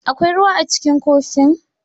Akwai ruwa a cikin kofin?